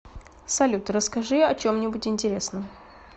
салют расскажи о чем нибудь интересном